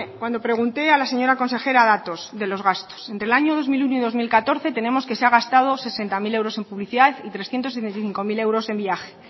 cuando pregunté a la señora consejera datos de los gastos del año dos mil uno y dos mil catorce tenemos que se ha gastado sesenta mil euros en publicidad y trescientos sesenta y cinco mil euros en viaje